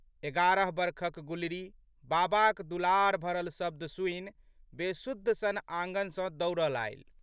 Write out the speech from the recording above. एगारह बरखक गुलरी बाबाक दुलार भरल शब्द सुनि बेसुध सन आँगन सँ दौड़लि आयलि।